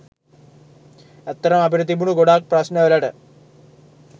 ඇත්තටම අපිට තිබුණ ගොඩාක් ප්‍රශ්ණ වලට